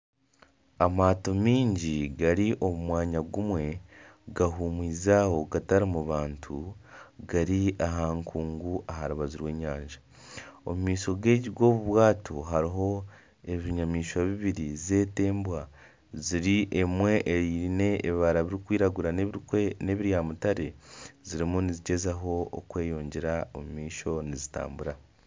Amaato mingi gari omumwanya gumwe gahumwize Aho gatarimu bantu. Gari aha nkungu aharubaju rw'enyanja. Omu maisho g'obubwato, hariho ebinyamishwa bibiri zete Embwa. Emwe eyine ebibara birikwiragura ne bya mutare. Zirimu nizigyezaho kweyongyera omumaisho nizitambura.